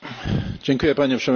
Panie Przewodniczący!